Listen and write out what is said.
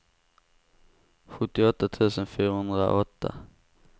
sjuttioåtta tusen fyrahundraåtta